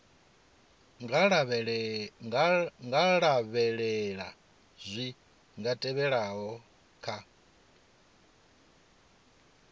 nga lavhelela zwi tevhelaho kha